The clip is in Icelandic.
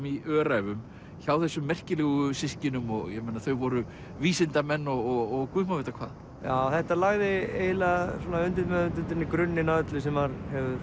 í Öræfum hjá þessum merkilegu systkinum ég meina þau voru vísindamenn og Guð má vita hvað já þetta lagði svona undirmeðvitundinni grunninn að öllu sem hefur